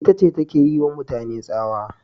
Ita ce take yiwa mutane tsawa